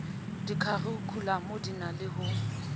dikharikhulamo di na le ho